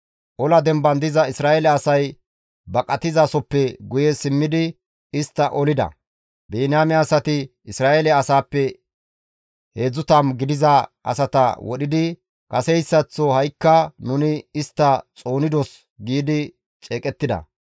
Ola demban diza Isra7eele asay baqatizasoppe guye simmidi istta olida. Biniyaame asati Isra7eele asaappe 30 gidiza asata wodhidi, «Kaseyssaththo ha7ikka nuni istta xoonidos» giidi ceeqettida.